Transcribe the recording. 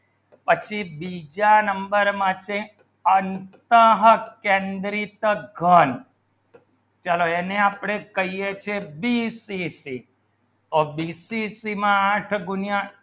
પછી બીજા નંબર માટે અંતઃ કેન્દ્રિત ઘણ ચલો એને આપણે કહીએ છે સીસીસી ઔર બીસીસી માં આઠ ગુણ્યાં